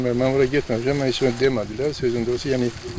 Mən ora getməmişəm, mənə heç nə demədilər, sözün doğrusu.